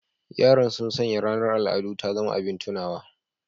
Yaran sun sanya ranar al'adu ta zama abin tunawa